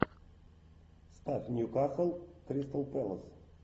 ставь ньюкасл кристал пэлас